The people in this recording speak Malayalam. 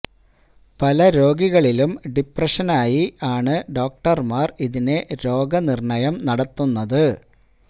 പല രോഗികളിലും ഡിപ്രെഷന് ആയി ആണ് ഡോക്ടര്മാര് ഇതിനെ രോഗനിര്ണ്ണയം നടത്തുന്നത്